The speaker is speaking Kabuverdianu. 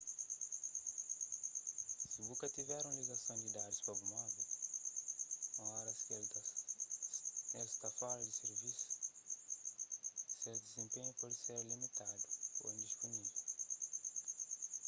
si bu ka tiver un ligason di dadus pa bu telemovel ô oras ki el sta fora di sirvisu ses dizenpenhu pode ser limitadu ô indispunível